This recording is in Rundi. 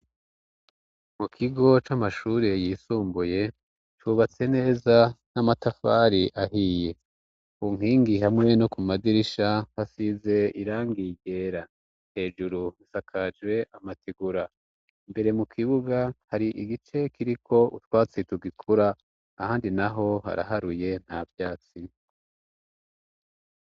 Mu kigo c'amashure yisumbuye cubatse neza n'amatafari ahiye unkingi hamwe no ku madirisha hasize irangiegera hejuru nsakajwe amatigura mbere mu kibuga hari igice kiriko utwatsi tugikura ahandi na ho ho haraharuye na vyasi.